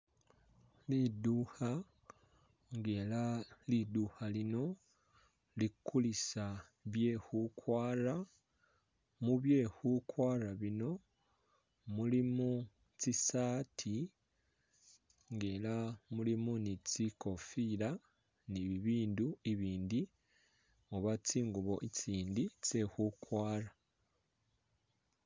Lidukha nga ela lidukha lino likulisa byekhukwara, mubyekhukwara bino mulimo tsisaati nga ela mulimo ni tsikofila ni bibindu i'bindi oba tsingubo i'tsindi tsekhukwara